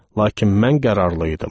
Lakin mən qərarlı idim.